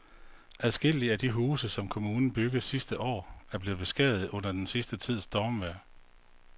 Adskillige af de huse, som kommunen byggede sidste år, er blevet beskadiget under den sidste tids stormvejr.